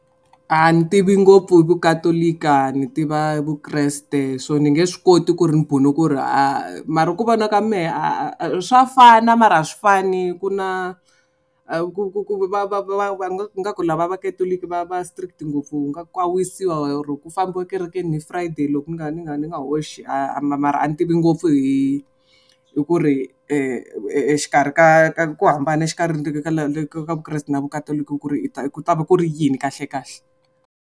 A ni tivi ngopfu vukatolika ni tiva vukreste so ni nge swi koti ku ri ni ku ri a mara ku vona ka mehe a swa fana mara a swi fani. Ku na ku ku ku va va va va nga ku lava vakatoloki va va strict ngopfu wu nga ka wisiwa oro ku fambiwa ekerekeni ni friday loko ni nga ni nga ni nga hoxi a mara a ni tivi ngopfu hi hi ku ri exikarhi ka ka ku hambana exikarhi ka vukreste na vakatoloki ku ri ku ta va ku ri yini kahlekahle.